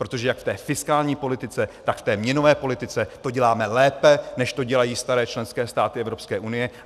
Protože jak v té fiskální politice, tak v té měnové politice to děláme lépe, než to dělají staré členské státy Evropské unie.